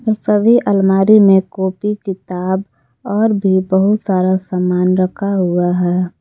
सभी अलमारी में कॉपी किताब और भी बहुत सारा सामान रखा हुआ है।